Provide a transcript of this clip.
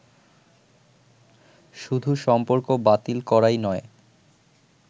শুধু সম্পর্ক বাতিল করাই নয়